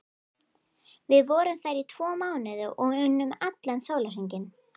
Við vorum þar í tvo mánuði og unnum allan sólarhringinn.